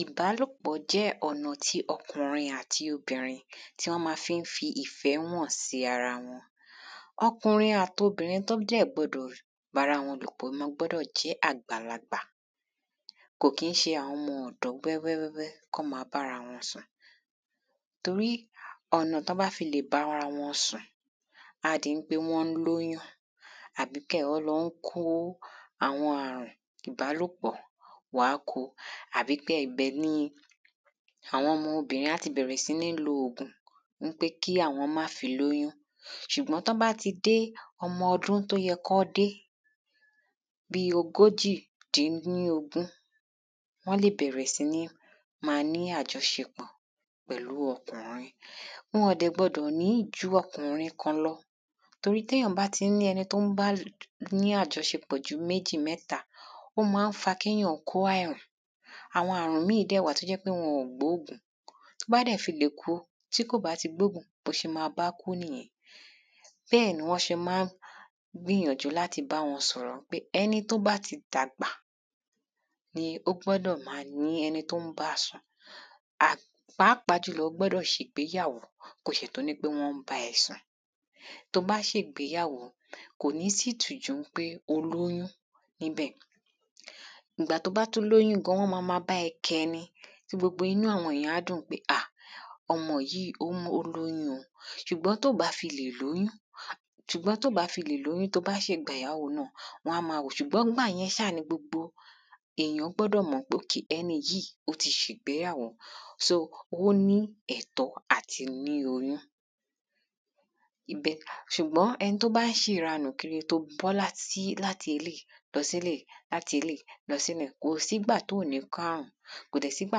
Ìbálòpọ̀ jẹ́ ọ̀nà tí ọkùnrin àti obìnrin tí wọ́n má fí ń fi ìfẹ́ hàn sí ara wọn. Ọkùnrin àti obìnrin tó dẹ̀ gbọdọ̀ bára wọn lòpọ̀ gbọ́dọ̀ jẹ́ àgbàlagbà kò kí ń ṣe àwọn ọmọ ọ̀dọ́ wẹ́wẹ́ kán má bára wọn sùn torí ọ̀nà tán bá fi lè bára wọn sùn á di wípé wọ́n ń lọ́ lóyún àbí á di wípé wọ́n ń lọ kó àwọn àrùn ìbálòpọ̀ wọ́n á kó àbí kẹ́ gbẹ ní àwọn ọmọ obìnrin á ti bẹ̀rẹ̀ sí ní lo ògùn wípé kí àwọn má fi lóyún. Ṣùgbọ́n tán bá ti dé ọmọ ọdún tó yẹ kán dé bí ogójì dín ní ogún wọ́n lè bẹ̀rẹ̀ sí ní má ní àjọṣepọ̀ pẹ̀lú ọkùnrin wọn dẹ̀ gbọdọ̀ ní ju ọkùnrin kan lọ torí tí èyàn bá ti ní ẹni tó ń bá ní àjọṣepọ̀ ju méjì mẹ́ta ó má ń fa kéyàn kó àrùn àwọn àrùn míì dẹ̀ wà tó jẹ́ pé wọn ò gbóògùn tó bá dẹ̀ ti lè kó tí kò bá ti gbóògùn bó ṣe má bákú nìyẹn. Bẹ́ẹ̀ni wọ́n ṣe má ń gbìyànjú láti bá wọn sọ̀rọ̀ wípé ẹni tó bá ti dàgbà ni ó gbọ́dọ̀ ní ẹni tó ń bá sùn. A pàápàá ó gbọ́dọ̀ ti ṣe ìgbéyàwó kó tó di pé wọ́n ń bá sùn tó bá ṣègbéyàwó kò ní sítìjú pé o lóyún níbẹ̀ ìgbà tó bá tún lóyún gan wọ́n má má bá ẹ kẹ́ ni tí gbogbo inú àwọn èyàn á dùn pé a ọmọ yìí ó lóyún o ṣùgbọ́n tó bá fi lè lóyún ṣùgbọ́n tó bá fi lè lóyún tó bá ṣègbéyàwó wọ́n á má wòó ṣùgbọ́n gbà yẹn ṣá ni èyàn gbọ́dọ̀ mọ̀ pé ẹni yìí ó ti ṣègbéyàwó só ó ní ẹ̀tọ́ àti ní oyún. Ibẹ̀ ṣùgbọ́n ẹni tó bá ń ṣèranù kiri tó bọ́ sí láti eléèyi lọ séléèyí láti eléèyí lọ séyun kò sígbà tó ní kárùn kò dẹ̀ sígbà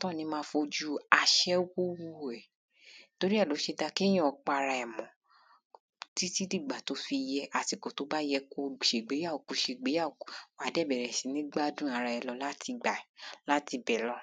tán ní má fi ojú aṣẹ́wó wò ẹ́ tórí ẹ̀ ló ṣe dá kéyàn pa ara ẹ̀ mọ́ títí dìgbà tó bá yẹ àsìkò tó bá yẹ kó ṣègbéyàwó kó ṣègbéyàwó wàá dẹ̀ bẹ̀rẹ̀ sí ní gbádùn ara ẹ láti bẹ̀ lọ.